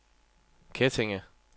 Kettinge